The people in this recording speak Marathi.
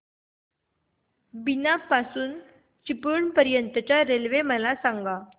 बीना पासून चिपळूण पर्यंत च्या रेल्वे मला सांगा